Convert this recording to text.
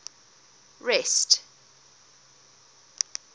rest